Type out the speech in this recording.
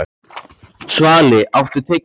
Svali, áttu tyggjó?